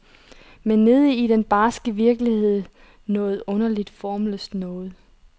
Men nede i den barske virkelighed noget underligt formløst noget.